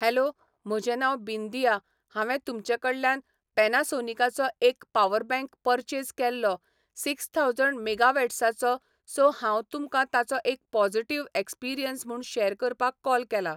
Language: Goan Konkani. हॅलो म्हजें नांव बिंदिया हांवें तुमचे कडल्यान पॅनासोनीकाचो एक पावरबँक परचेज केल्लो सिक्स थावजंड मेगावॉट्साचो सो हांव तुमकां ताचो एक पॉजिटीव एक्सपिरियंस म्हूण शेयर करपाक कॉल केलां.